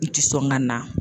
N ti sɔn gana